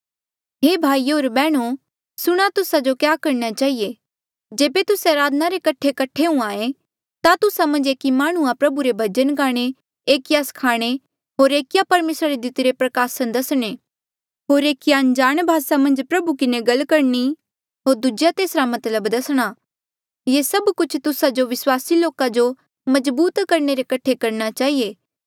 हे भाईयो होर बैहणो सुणा तुस्सा जो क्या करणा चहिए जेबे तुस्से अराधना रे कठे हुंहां ऐें ता तुस्सा मन्झ एकी माह्णुंआं प्रभु रे भजन गाणे एकिया स्खाणे होर एकिया परमेसरा रे दितिरे प्रकासन दसणे होर एकिया अनजाण भासा मन्झ प्रभु किन्हें गल करणी होर दूजेया तेसरा मतलब दसणा ये सभ कुछ तुस्सा जो विस्वासी लोका जो मजबूत करणे रे कठे करणा चहिए